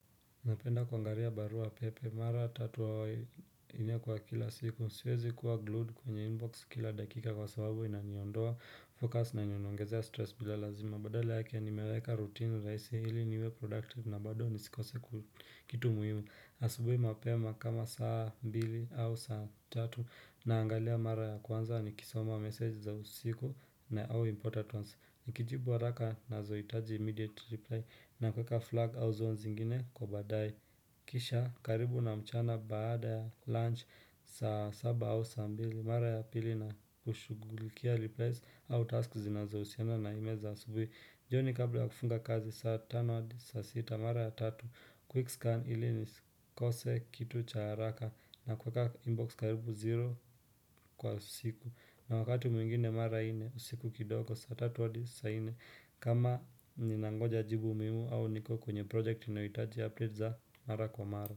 Napenda kwangaria barua pepe, mara tatub au nne kwa kila siku, siwezi kuwa glued kwenye inbox kila dakika kwa sababu inaniondoa focus na inionongezea stress bila lazima. Mabadale ya kea nimeweka rutini raisi hili niwe productive na badoo nisikose kitu muhimu. Asubui mapema kama saa mbili au saa tatu na angalia mara ya kwanza ni kisoma message za usiku na au importance. Nikijibu waraka na zoitaji immediate reply na kweka flag au zones ingine kwa badae. Kisha karibu na mchana baada ya lunch saa saba au saa mbili. Mara ya pili na kushugulikia replays au task zinazo usianza na ime za subwe Jio ni kabla wa kufunga kazi saa tano wadi saa sita mara ya tatu Kwikscan ili ni kose kitu cha haraka na kuweka inbox karibu zero. Kwa usiku na wakati mwingine mara ine usiku kidogo saa tatu hadi saa ine. Kama ni nangoja jibu mimu au niko kwenye project inawitaji update za mara kwa mara.